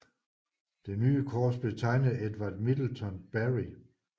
Det nye kors blev tegnet af Edward Middleton Barry